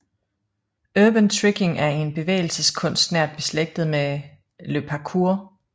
Urban Tricking er en bevægelseskunst nært beslægtet med Le Parkour